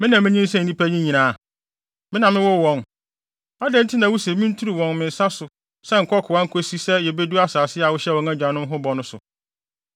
Me na minyinsɛn nnipa yi nyinaa? Me na mewoo wɔn? Adɛn nti na wuse minturu wɔn wɔ me nsa so sɛ nkokoaa nkosi sɛ yebedu asase a wohyɛɛ wɔn agyanom ho bɔ no so?